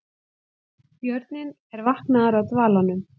Björninn er vaknaður af dvalanum